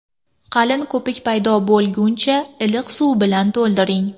Qalin ko‘pik paydo bo‘lguncha iliq suv bilan to‘ldiring.